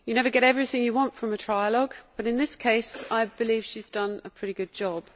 You never get everything you want from a trialogue but in this case I believe she has done a pretty good job.